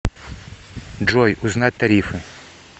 джой узнать тарифы